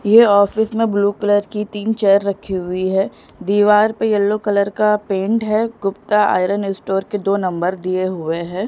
ये ऑफिस में blue colour की तीन चेयर रखी हुई है दीवार पर यलो कलर का पेंट है गुप्ता आयरन स्टोर के दो नंबर दिए हुए हैं।